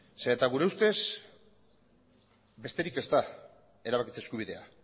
zeren gure ustez besterik ez da erabakitze eskubidea